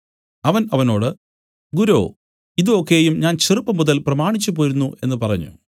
അവൻ അവനോട് ഗുരോ ഇതു ഒക്കെയും ഞാൻ ചെറുപ്പംമുതൽ പ്രമാണിച്ചുപോരുന്നു എന്നു പറഞ്ഞു